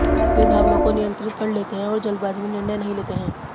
वे भावनाओं को नियंत्रित कर लेते हैं और जल्दबाजी में निर्णय नहीं लेते हैं